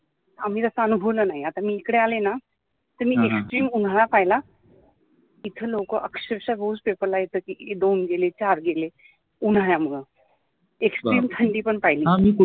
आम्ही जसा अनुभवलं नाही आता मी इकडे आले ना तर मी निश्चित उन्हाळा पहिला इथे लोक अक्षरशः दोन गेले चार गेले उन्ह्याळामुळे extreme थंडी पण पहिली.